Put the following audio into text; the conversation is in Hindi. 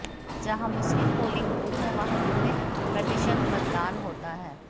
जहां मुस्लिम पोलिंग बूथ है वहां कितने प्रतिशत मतदान होता है